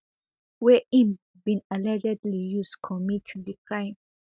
wey im bin allegedly use commit di crime